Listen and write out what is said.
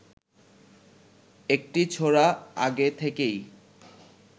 একটি ছোরা আগে থেকেই